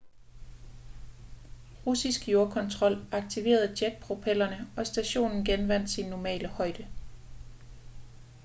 russisk jordkontrol aktiverede jetpropellerne og stationen genvandt sin normale højde